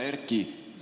Hea Erki!